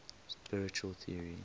spiritual theories